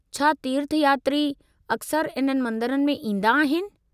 छा तीर्थयात्री अक्सर इन्हनि मंदरनि में ईंदा आहिनि?